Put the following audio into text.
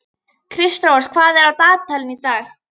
Kristrós, hvað er á dagatalinu í dag?